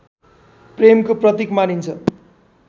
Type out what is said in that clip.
प्रेमको प्रतीक मानिन्छ